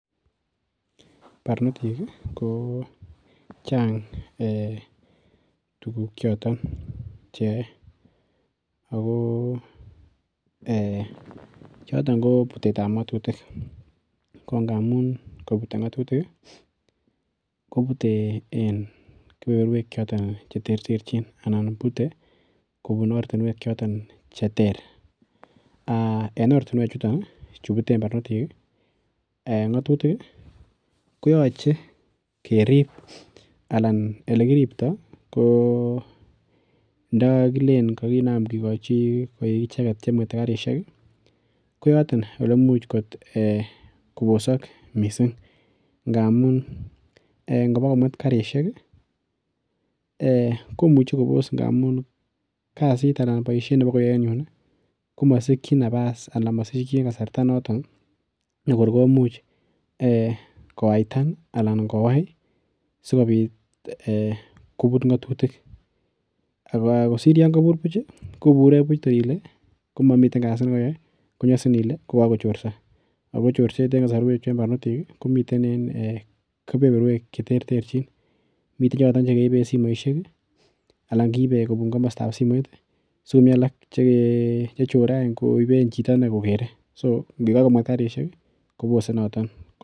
Barnotik kochang tuguk choton cheyoe ago ee choton kobutetab ngatutik. Kongamun kabute ngatutik kobute en keberberwek chiton che terterchin anan bute kobun ortinwek choton che ter. Aa en ortinwek chuton chubuten barnotik ngatutik, koyoche kerip anan olekiripto ko ndakakilen kakinam kigochi koik icheget che mwete karisiek, koyoton olemuch kobosok mising ngamun ngobokomwet karisiek, komuche kobos ngamun kasit anan boisiet nebokoyae en yun komasikyin nabas ana mosikyin kasarta notok nekor komuch kowaitan anan kowai sigopit kobut ngatutik kosir yon kabur buch kobure buch toyile komami kasi ne koyoe konyasin ile ko kakochorso. Ago chorset en kasarwechu en barnotik komiten en keberberwek cheterterchin. Miten choto chekeiben simoisiek ana kiibe en komostab simoit sikomi alak che chere any koiben chito inne kokere. So ngobokomwet karisiek kobose noto.